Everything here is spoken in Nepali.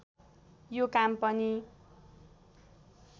यो काम पनि